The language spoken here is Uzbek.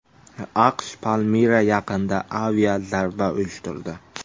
AQSh Palmira yaqinida aviazarba uyushtirdi.